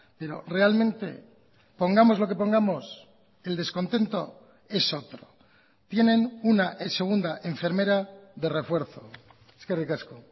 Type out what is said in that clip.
pero realmente pongamos lo que pongamos el descontento es otro tienen una segunda enfermera de refuerzo eskerrik asko